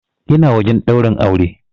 Ina wajen ɗaurin aure.